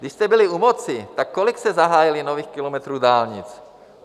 Když jste byli u moci, tak kolik jste zahájili nových kilometrů dálnic?